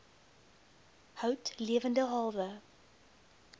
hout lewende hawe